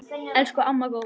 Elsku amma Góa.